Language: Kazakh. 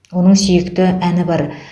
оның сүйікті әні бар